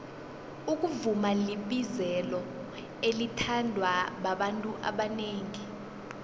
ukuvuma libizelo elithandwa babantu abanengi